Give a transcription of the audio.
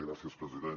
gràcies president